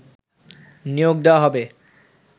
নিয়োগ দেয়া হবে